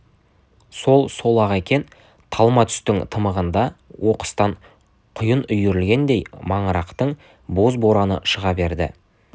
сол-сол-ақ екен талма түстің тымығында оқыстан құйын үйірілгендей маңырақтың боз-бораны шыға берді